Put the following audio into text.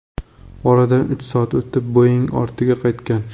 Oradan uch soat o‘tib, Boeing ortiga qaytgan.